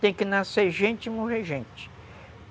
Tem que nascer gente e morrer gente.